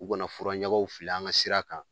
U kana furaɲagaw fili an ka sira kan